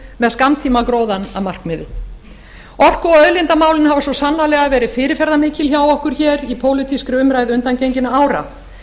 með skammtímagróðann að markmiði orku og auðlindamálin hafa svo sannarlega verið fyrirferðarmikil hjá okkur hér í pólitískri umræðu undangenginna ára